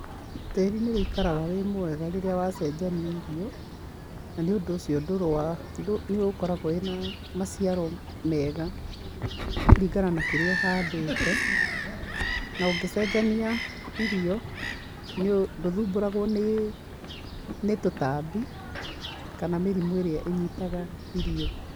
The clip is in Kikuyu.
Tĩri nĩ ũikaraga wĩ mwega rĩrĩa wacenjania irio, na nĩũndũ ũcio ndũrĩ wa nĩ nĩ ũkoragwo wĩna maciaro mega, kũringana na kĩrĩa uhandĩte, na ũngĩcenjania irio, ndũthumbũragwo nĩ nĩ tũtambi kana mĩrimũ ĩrĩ ĩnyitaga irio.